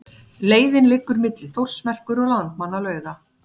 Leiðin liggur milli Þórsmerkur og Landmannalauga.